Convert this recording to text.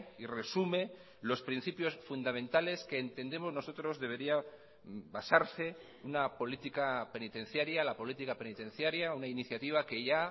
y resume los principios fundamentales que entendemos nosotros debería basarse una política penitenciaria la política penitenciaria una iniciativa que ya